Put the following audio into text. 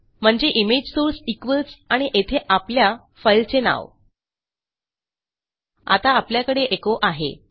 म्हणजे image source equals आणि येथे आपल्या फाईलचे नाव आता आपल्याकडे एचो आहे